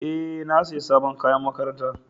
E, na sayi sabon kayan makaranta.